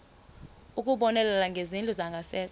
ukubonelela ngezindlu zangasese